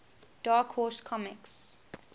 dark horse comics